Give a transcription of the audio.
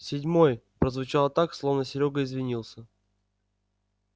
седьмой прозвучало так словно серёга извинялся